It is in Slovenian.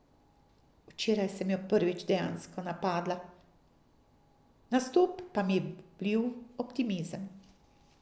Včeraj sem jo prvič dejansko napadla, nastop pa mi je vlil optimizem.